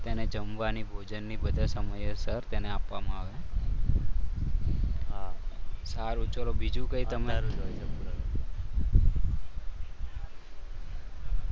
એને જમવાની ભોજનની સમયસર તેને આપવામાં આવે છે સારું ચાલો બીજું કોઈ તમે